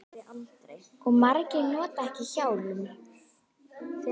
Og margir nota ekki hjálm.